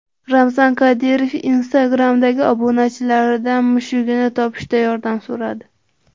Ramzan Qodirov Instagram’dagi obunachilaridan mushugini topishda yordam so‘radi.